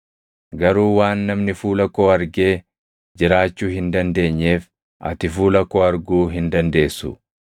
Garuu waan namni fuula koo argee jiraachuu hin dandeenyeef ati fuula koo arguu hin dandeessu.”